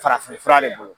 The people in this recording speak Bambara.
Farafinfura de bolo